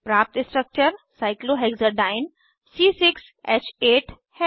प्राप्त structure cyclohexadiene cyclohexadiene है